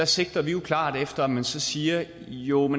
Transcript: sigter vi jo klart efter at man så siger at jo